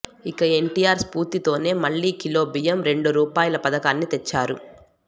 ఇక ఎన్టీఆర్ స్ఫూర్తి తోనే మళ్ళీ కిలోబియ్యం రెండు రూపాయల పధకాన్ని తెచ్చారు